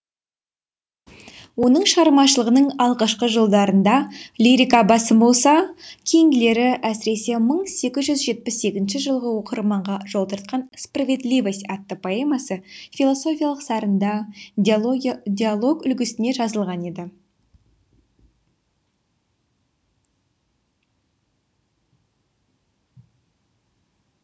оның шығармашылығының алғашқы жылдарында лирика басым болса кейінгілері әсіресе мың сегіз жүз жетпіс сегізінші жылғы оқырмағанға жол тартқан справедливость атты поэмасы философиялық сарында диалог үлгісінде жазылған еді